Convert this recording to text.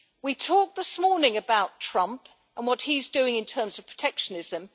We talked this morning about Trump and what he is doing in terms of protectionism.